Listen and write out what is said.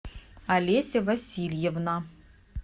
олеся васильевна